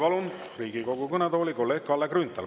Palun Riigikogu kõnetooli kolleeg Kalle Grünthali.